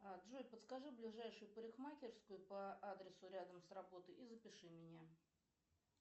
джой подскажи ближайшую парикмахерскую по адресу рядом с работой и запиши меня